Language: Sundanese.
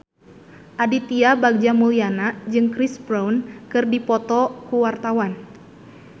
Aditya Bagja Mulyana jeung Chris Brown keur dipoto ku wartawan